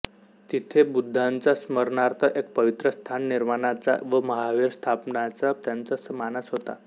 तिथे बुद्धांच्या स्मरणार्थ एक पवित्र स्थान निर्माणाचा व महाविहार स्थापन्याचा त्यांचा मानस होता